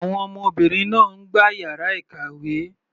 Àwọn ọmọbìnrin náà ń gbá yàrá ìkàwé.